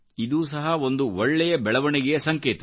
ಇದೂ ಸಹ ಒಂದು ಒಳ್ಳೆಯ ಬೆಳವಣಿಗೆಯ ಸಂಕೇತ